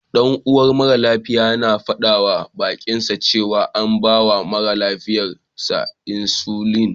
Ɗan'uwan mara lafiyar yana faɗawa baƙinsa cewa an bawa mara lafiyar sa insulin.